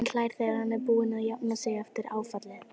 Og hlær þegar hann er búinn að jafna sig eftir áfallið.